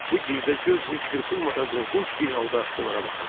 Bu girdə göz heç qırpılmadan qorxunc bir halda onlara baxırdı.